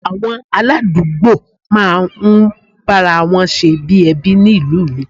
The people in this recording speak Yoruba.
Àwọn aládùúgbò máa ń bára wọn ṣe bí ẹbí ni ìlú mi